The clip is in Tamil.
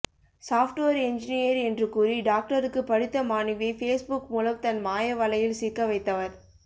சாப்ட்வேர் என்ஜினீர் என்று கூறி டாக்டருக்கு படித்த மாணவியை பேஸ்புக் மூலம் தன் மாயவலையில் சிக்க வைத்தவர்